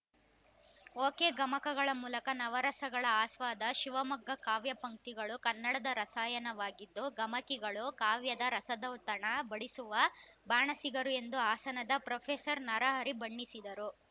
ಒಕೆಗಮಕಗಳ ಮೂಲಕ ನವರಸಗಳ ಆಸ್ವಾದ ಶಿವಮೊಗ್ಗ ಕಾವ್ಯ ಪಂಕ್ತಿಗಳು ಕನ್ನಡದ ರಸಾಯನವಾಗಿದ್ದು ಗಮಕಿಗಳು ಕಾವ್ಯದ ರಸದೌತಣ ಬಡಿಸುವ ಬಾಣಸಿಗರು ಎಂದು ಹಾಸನದ ಫ್ರಫೆಸರ್ ನರಹರಿ ಬಣ್ಣಿಸಿದರು